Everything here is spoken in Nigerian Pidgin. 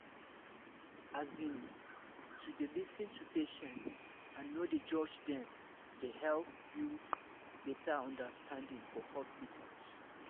as in to dey lis ten to patient and no dey judge dem dey help build better understanding for hospitals